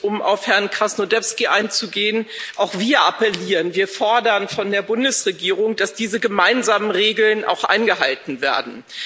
Um auf Herrn Krasnodębski einzugehen Auch wir appellieren, wir fordern von der Bundesregierung, dass diese gemeinsamen Regeln auch eingehalten werden.